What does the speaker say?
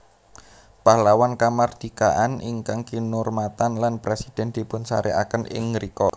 Pahlawan Kamardikaan ingkang kinurmatan lan presiden dipunsareaken ing ngrika